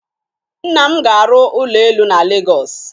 Nna m ga-arụ ụlọ elu na Legọs